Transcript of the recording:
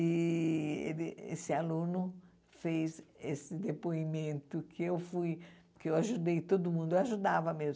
E ele esse aluno fez esse depoimento que eu fui, que eu ajudei todo mundo, eu ajudava mesmo.